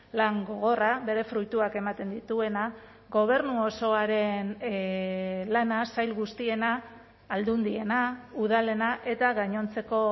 lan gogorra bere fruituak ematen dituena gobernu osoaren lana sail guztiena aldundiena udalena eta gainontzeko